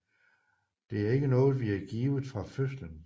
Det er ikke noget vi er givet fra fødselen